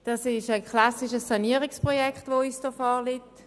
Es ist ein klassisches Sanierungsprojekt, das uns hier vorliegt.